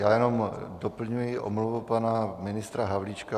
Já jenom doplňuji omluvu pana ministra Havlíčka.